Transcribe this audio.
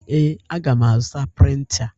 Ee, aga m azụta printa.